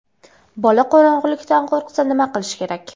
Bola qorong‘ilikdan qo‘rqsa, nima qilish kerak?.